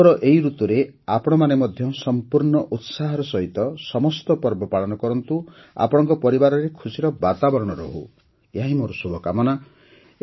ଉତ୍ସବର ଏହି ଋତୁରେ ଆପଣମାନେ ମଧ୍ୟ ସମ୍ପୂର୍ଣ୍ଣ ଉତ୍ସାହର ସହିତ ସମସ୍ତ ପର୍ବ ପାଳନ କରନ୍ତୁ ଆପଣଙ୍କ ପରିବାରରେ ଖୁସିର ବାତାବରଣ ରହୁ ଏହାହିଁ ମୋର କାମନା